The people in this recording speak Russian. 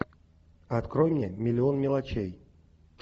открой мне миллион мелочей